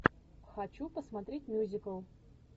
хочу посмотреть мюзикл